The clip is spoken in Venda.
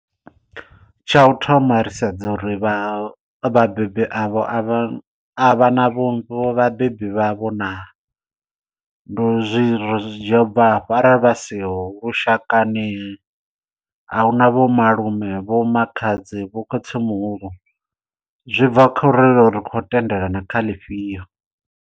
Tsha u thoma ri sedza uri vha vhabebi avho a vha a vha na vhabebi vhavho naa ri zwi dzhia u bva afha arali vha siho lushakani ahuna vho malume, vho makhadzi, vho khotsi muhulu zwi bva kha uri ri khou tendelana kha ḽifhio.